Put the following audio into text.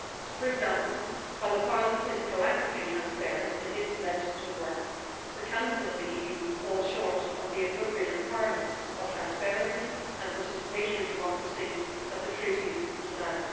For example, while the Parliament is proactively transparent in its legislative work, the Council of the EU falls short of the appropriate requirements of transparency and participatory democracy that the Treaties demand.